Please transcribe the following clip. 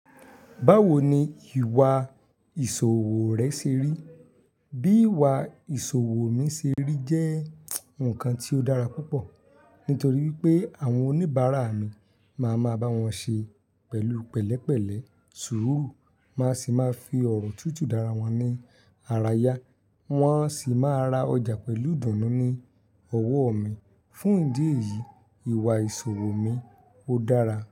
Báwo ni ìwà ìṣòwò rẹ ṣe rí? Bí ìwà ìṣòwò mi se rí jẹ́ nǹkan tí ó dára púpọ̀ nítorí pé àwọn oníbàárà mi máa máa bá wọn ṣe pẹ̀lú pẹ̀lẹ́pẹ̀lẹ́, suuru máa sì máa fi ọ̀rọ̀ tútù dára wọn ní ara yá. Wọn sì máa ra ọjà pẹ̀lú dùnnú ní ọwọ́ mi. Fún ìdí èyí, ìwà ìṣòwò mi ó dára.